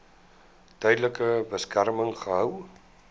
tydelike beskerming gehou